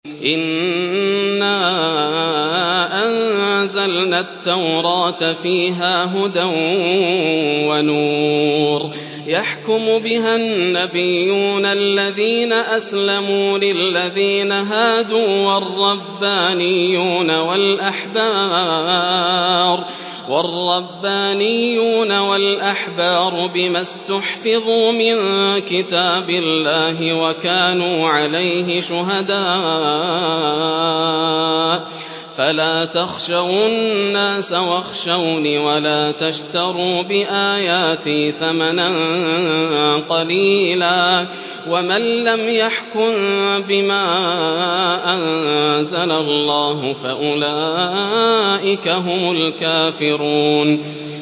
إِنَّا أَنزَلْنَا التَّوْرَاةَ فِيهَا هُدًى وَنُورٌ ۚ يَحْكُمُ بِهَا النَّبِيُّونَ الَّذِينَ أَسْلَمُوا لِلَّذِينَ هَادُوا وَالرَّبَّانِيُّونَ وَالْأَحْبَارُ بِمَا اسْتُحْفِظُوا مِن كِتَابِ اللَّهِ وَكَانُوا عَلَيْهِ شُهَدَاءَ ۚ فَلَا تَخْشَوُا النَّاسَ وَاخْشَوْنِ وَلَا تَشْتَرُوا بِآيَاتِي ثَمَنًا قَلِيلًا ۚ وَمَن لَّمْ يَحْكُم بِمَا أَنزَلَ اللَّهُ فَأُولَٰئِكَ هُمُ الْكَافِرُونَ